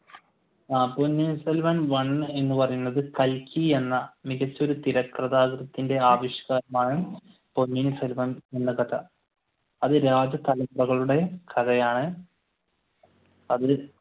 ആഹ് Ponniyin Selvan one എന്ന് പറയുന്നത് കൽക്കി എന്ന മികച്ച ഒരു തിരക്കഥാകൃത്തിന്റെ പൊന്നിയിൻ സെൽവം എന്ന കഥ. അത് കഥയാണ് അത്